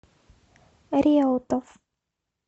реутов